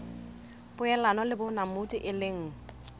poelano le bonamodi e leng